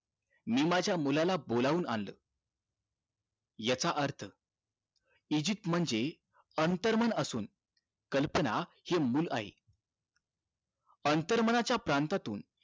मी माझ्या मुलाला बोलावून आणलं याचा अर्थ इजिप्त म्हणजे अंतर मन असून कल्पना हे मुलं आहे अंतर मन च्या प्रांतातून